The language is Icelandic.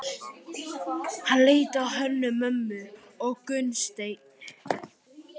Hann leit á Hönnu-Mömmu og Gunnstein.